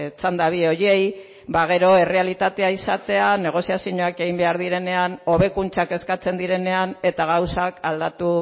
txanda bi horiei ba gero errealitatea izatea negoziazioak egin behar direnean hobekuntzak eskatzen direnean eta gauzak aldatu